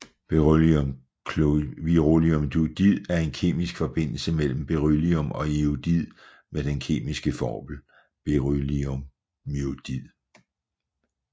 Berylliumiodid er en kemisk forbindelse mellem beryllium og iodid med den kemiske formel